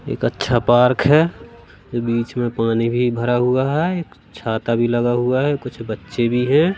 एक अच्छा पार्क है बीच में पानी भी भरा हुआ है एक छाता भी लगा हुआ है कुछ बच्चे भी हैं।